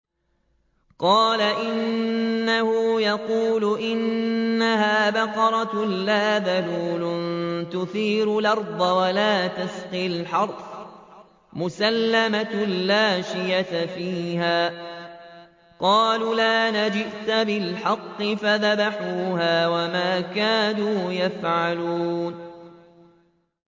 قَالَ إِنَّهُ يَقُولُ إِنَّهَا بَقَرَةٌ لَّا ذَلُولٌ تُثِيرُ الْأَرْضَ وَلَا تَسْقِي الْحَرْثَ مُسَلَّمَةٌ لَّا شِيَةَ فِيهَا ۚ قَالُوا الْآنَ جِئْتَ بِالْحَقِّ ۚ فَذَبَحُوهَا وَمَا كَادُوا يَفْعَلُونَ